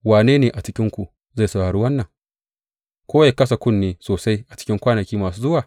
Wane ne a cikinku zai saurari wannan ko ya kasa kunne sosai a cikin kwanaki masu zuwa?